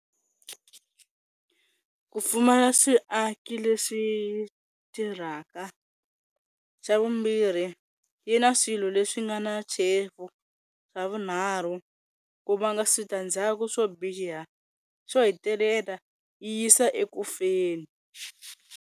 Ku pfumala swiaki leswi tirhaka, xa vumbirhi yi na swilo leswi nga na tshevu, xa vunharhu ku va na switandzhaku swo biha, xo hetelela yisa eka kufeni.